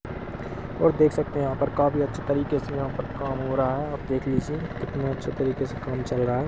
और देख सकते हैयहाँ पर काफी अच्छे तरीके से यहाँ पर काम हो रहा है आप देख लीजिए कितने अच्छे तरीके से काम चल रहा हैं।